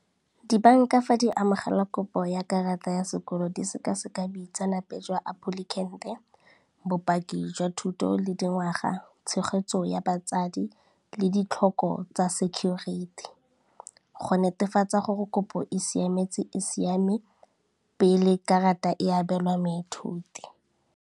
Dibanka fa di amogela kopo ya karata ya sekolo di sekaseka boitsanape jwa applicant-e, bopaki jwa thuto le dingwaga, tshegetso ya batsadi le ditlhoko tsa security, go netefatsa gore kopo e siame pele karata e abelwa moithuti.